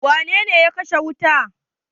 Wane ne ya kashe wuta?